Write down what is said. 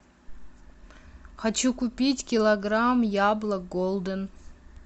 хочу купить килограмм яблок голден